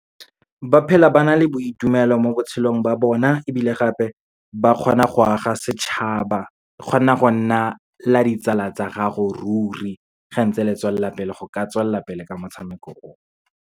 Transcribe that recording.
Ba phela ba na le boitumelo mo botshelong ba bona. Ebile gape, ba kgona go aga setšhaba, e kgona go nna la ditsala tsa gago ruri, ge ntse letswelala le go ka tswelela pele ka motshameko o.